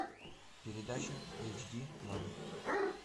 передача эйч ди лайф